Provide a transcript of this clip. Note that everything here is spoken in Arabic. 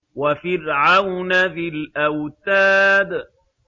وَفِرْعَوْنَ ذِي الْأَوْتَادِ